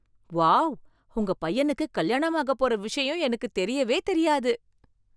Wow! உங்க பையனுக்கு கல்யாணம் ஆகப்போற விஷயம் எனக்கு தெரியவே தெரியாது!